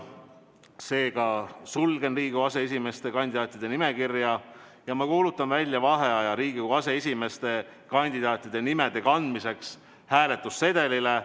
Seega sulgen Riigikogu aseesimehe kandidaatide nimekirja ja kuulutan välja vaheaja Riigikogu aseesimehe kandidaatide nimede kandmiseks hääletussedelile.